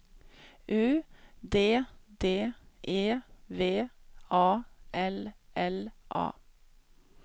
U D D E V A L L A